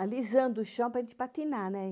alisando o chão para a gente patinar, né?